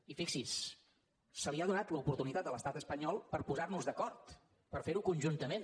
i fixi’s se li ha donat l’oportunitat a l’estat espanyol per posar nos d’acord per fer ho conjuntament